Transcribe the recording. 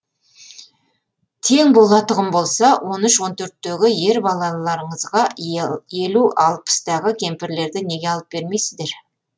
тең болатұғын болса он үш он төрттегі ер балаларыңызға елу алпыстағы кемпірлерді неге алып бермейсіздер